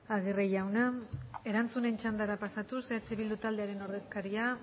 aguirre jauna erantzunen txandara pasatuz eh bildu taldearen ordezkaria